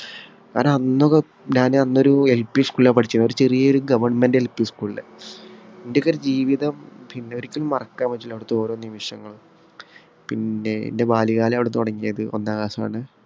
കാരണം, അന്നൊക്കെ ഞാന് അന്നൊരു LP school ഇലാണ് പഠിച്ചത്. ഒരു ചെറിയ GovernmentLP സ്കൂളിലാ. എന്‍റെയൊക്കെ ജീവിതം പിന്നെയൊരിക്കലും മറക്കാൻ പറ്റൂല. അവിടത്തെ ഓരോ നിമിഷങ്ങളും. പിന്നെ എന്‍റെ ബാല്യകാലം അവിടെ തുടങ്ങിയത് ഒന്നാം class ആണ്.